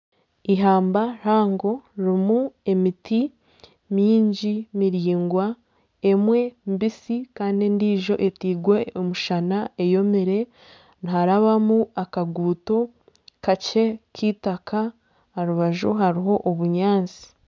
Eihamba rihango ririmu emiti mingi miraingwa emwe mbisi kandi endiijo etairwe omushana eyomire, niharabamu akaguuto kakye k'eitaka aha rubaju harimu obunyaatsi